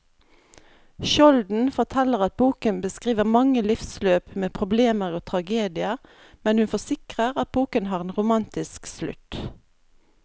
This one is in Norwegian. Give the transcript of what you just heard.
Skjolden forteller at boken beskriver mange livsløp med problemer og tragedier, men hun forsikrer at boken har en romantisk slutt.